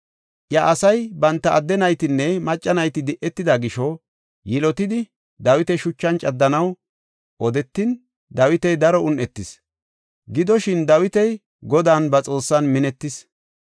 Iya asay banta adde naytinne macca nayti di7etida gisho yilotidi Dawita shuchan caddanaw odetin, Dawiti daro un7etis. Gidoshin, Dawiti Godan ba Xoossan minetis.